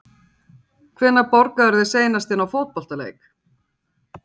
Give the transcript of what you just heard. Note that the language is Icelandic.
Hvenær borgaðirðu þig seinast inná fótboltaleik?